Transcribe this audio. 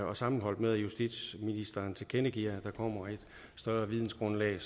og sammenholdt med at justitsministeren tilkendegiver at der kommer et større vidensgrundlag